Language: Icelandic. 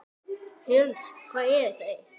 Hrund: Hvar eru þeir?